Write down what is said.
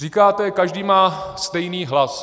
Říkáte, každý má stejný hlas.